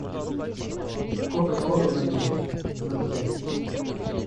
кока кола ваниль ноль пять